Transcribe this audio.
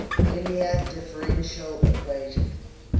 linear differential equation